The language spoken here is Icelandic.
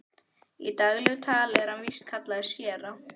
Í daglegu tali er hann víst kallaður séra